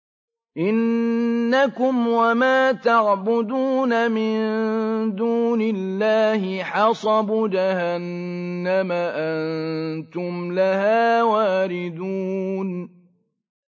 إِنَّكُمْ وَمَا تَعْبُدُونَ مِن دُونِ اللَّهِ حَصَبُ جَهَنَّمَ أَنتُمْ لَهَا وَارِدُونَ